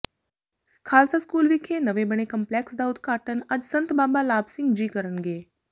Khalsa school ਵਿਖੇ ਨਵੇਂ ਬਣੇ ਕੰਂਪਲੈਕਸ ਦਾ ਉਦਘਾਟਨ ਅੱਜ ਸੰਤ ਬਾਬਾ ਲਾਭ ਸਿੰਘ ਜੀ ਕਰਨਗੇ